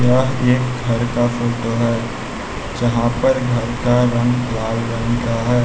यह एक घर का फोटो है जहां पर घर का रंग लाल रंग का है।